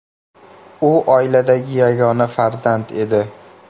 U oiladagi yagona farzand edi.